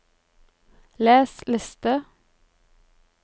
les liste